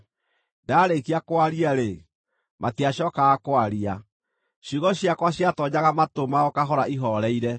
Ndaarĩkia kwaria-rĩ, matiacookaga kwaria; ciugo ciakwa ciatoonyaga matũ mao kahora ihooreire.